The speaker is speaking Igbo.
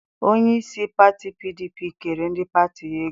Onyeisi pati PDP kere ndị pati ya ego.